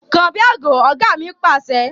Kàn bí àgbò! Ọ̀gá mi Pàṣẹ.